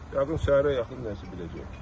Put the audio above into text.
Yəqin səhərə yaxın nəsə biləcəyik.